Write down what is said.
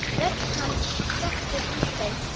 Rödd hans sekkur í þau.